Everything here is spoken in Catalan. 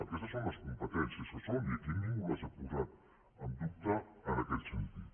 aquestes són les competències que són i aquí ningú les ha posat en dubte en aquest sentit